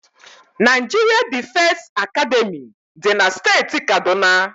Naijiria Difesi Academị dị na steeti Kaduna.